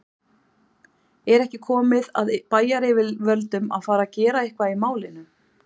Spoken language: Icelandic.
Er ekki komið að bæjaryfirvöldum að fara gera eitthvað í málinu?